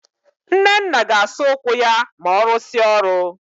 Nnenna ga-asa ụkwụ ya ma ọ rụsịa ọrụ